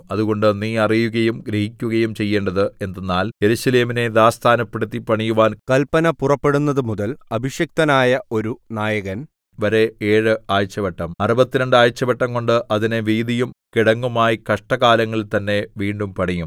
അതുകൊണ്ട് നീ അറിയുകയും ഗ്രഹിക്കുകയും ചെയ്യേണ്ടത് എന്തെന്നാൽ യെരൂശലേമിനെ യഥാസ്ഥാനപ്പെടുത്തി പണിയുവാൻ കല്പന പുറപ്പെടുന്നതുമുതൽ അഭിഷിക്തനായ ഒരു അഭിഷിക്തനായ ഒരു നായകന്‍ വരെ ഏഴ് ആഴ്ചവട്ടം അറുപത്തിരണ്ട് ആഴ്ചവട്ടം കൊണ്ട് അതിനെ വീഥിയും കിടങ്ങുമായി കഷ്ടകാലങ്ങളിൽ തന്നെ വീണ്ടും പണിയും